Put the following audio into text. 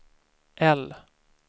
L